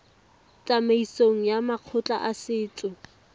tsamaisong ya makgotla a setso